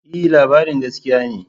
E, labarin gaskiya ne.